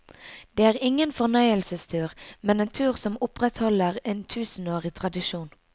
Det er ingen fornøyelsestur, men en tur som opprettholder en tusenårig tradisjon.